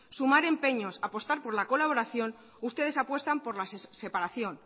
sumar empeños apostar por la colaboración ustedes apuestan por la separación